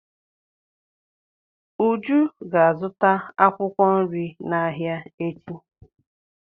Uju ga-azụta akwụkwọ nri n'ahịa echi.